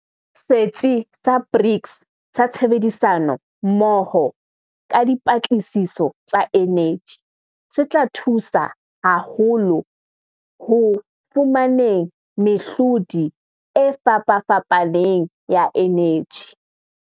Setsi sa BRICS sa Tshebedisano-mmoho ka Dipatlisiso tsa Eneji, se tla thusa haholo ho fumaneng mehlodi e fapafapaneng ya eneji.